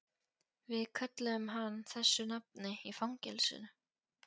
Við kölluðum hann þessu nafni í fangelsinu